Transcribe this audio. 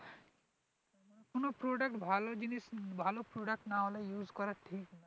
কোন product ভালো জিনিস ভালো product না হলে use করা ঠিক না